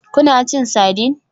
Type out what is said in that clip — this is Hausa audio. Kuna cin sardine?